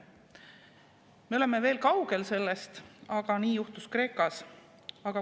Me oleme sellest veel kaugel, aga nii juhtus Kreekas.